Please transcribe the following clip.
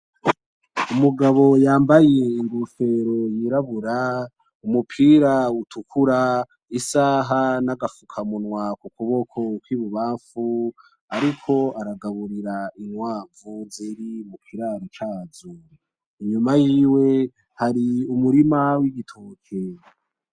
Umugabo yambaye inkofero yirabura , umupira utukura , isaha n’agafukamunwa ku kuboko k’ibubanfu ariko aragaburira inkwavu ziri ku kiraro cazo . Inyuma yiwe hari umurima w’ibitoke.